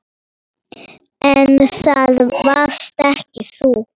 En það varst ekki þú.